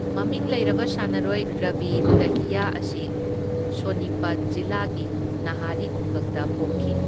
ꯃꯃꯤꯡ ꯂꯩꯔꯕ ꯁꯥꯟꯅꯔꯣꯏ ꯔꯕꯤ ꯗꯍꯤꯌꯥ ꯑꯁꯤ ꯁꯣꯅꯤꯄꯠ ꯖꯤꯂꯥꯒꯤ ꯅꯥꯍꯔꯤ ꯈꯨꯡꯒꯪꯗ ꯄꯣꯛꯈꯤ꯫